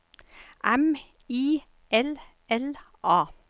M I L L A